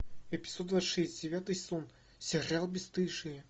эпизод двадцать шесть девятый сезон сериал бесстыжие